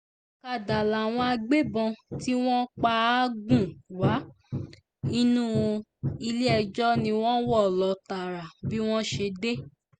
ọ̀kadà làwọn agbébọ́n tí wọ́n pa á gùn wá inú ilé-ẹjọ́ ni wọ́n wọ́ lọ tààrà bí wọ́n ṣe dé